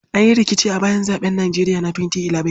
An yi rikici a bayan zaɓen Nijeriya na 2011.